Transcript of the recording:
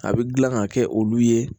A bɛ gilan ka kɛ olu ye